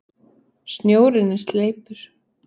Snjórinn er sleipur!